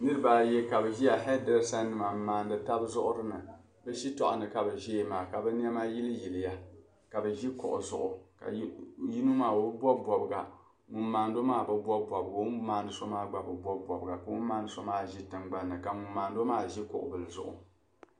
N-nyɛ niriba ayi ka bi ʒiya, hairdressernima n-maandi tabi zuɣiri ni. Bi shitɔɣu ni ka bi ʒiya maa, ka bi niɛma yiliyiliya. Ka bi ʒi kuɣu zuɣu. Yino maa, o bi bob bobiga. Ŋun maandi o maa bi bob bobiga, o mi ni maandi so maa gba bi bob bobiga ka o maandi so maa ʒi tingbanni ka ŋun maandi o maa ʒi kuɣu zuɣu.